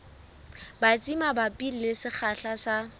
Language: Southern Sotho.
batsi mabapi le sekgahla sa